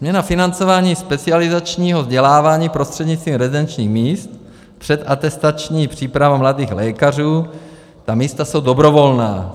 Změna financování specializačního vzdělávání prostřednictvím rezidenčních míst, předatestační příprava mladých lékařů, ta místa jsou dobrovolná.